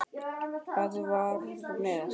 Að vera með